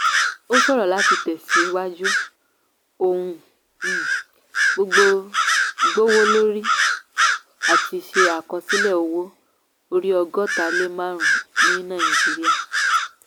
ó ṣòro láti tẹ̀síwájú; ohun um gbogbo gbówólórí; a ti ṣe àkọsílẹ̀ owó orí ọgọ́ta lé márùn-ún ní nàìjíríà.